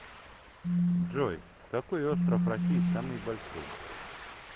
джой какой остров россии самый большой